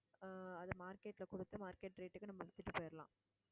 ஆஹ் அது market ல கொடுத்து market rate க்கு நம்ம வித்துட்டு போயிடலாம்.